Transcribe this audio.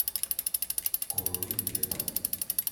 короли лета